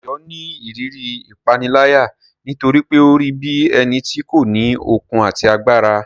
Dayo ni ìrírí ìpániláyà nítorí pé ó rí bí ẹni tí kò ní okun àti agbára.